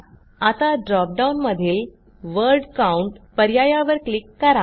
आता ड्रॉप डाऊनमधील word count पर्यायावर क्लिक करा